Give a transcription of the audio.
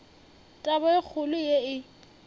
taba e kgolo ye e